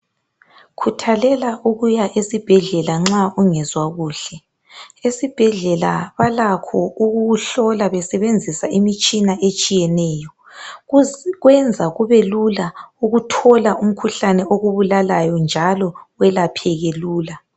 Khuthalela ukuya esibhedlela nxa ungezwa kuhle. Esibhedlela balakho ukukuhlola besebenzisa imitshina etshiyeneyo. Kwenza kubelula ukuthola umkhuhlane okubulalayo njalo welapheke lula.